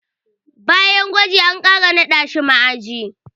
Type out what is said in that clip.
Bayan gwajin, an ƙara naɗa shi ma'aji.